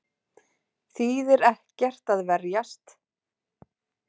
Þýðir ekki að verjast